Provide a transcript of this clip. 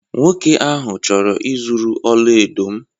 Nwa nwoke ahụ chọrọ ịzuru ọla edo m.